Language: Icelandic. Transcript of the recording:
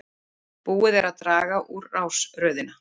Búið er að draga um rásröðina